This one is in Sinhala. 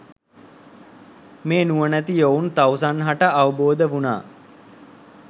මේ නුවණැති යොවුන් තවුසන් හට අවබෝධ වුනා